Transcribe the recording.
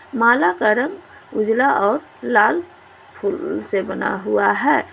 माला का रंग उजाला और लाल फूल से बना हुआ है।